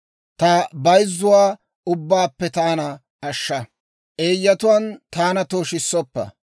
Ta bayzzuwaa ubbaappe taana ashsha; eeyyatuwaan taana tooshissoppa.